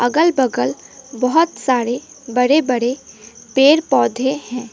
अगल बगल बहुत सारे बड़े बड़े पेड़ पौधे है।